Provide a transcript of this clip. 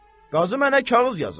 Qazı mənə kağız yazıb.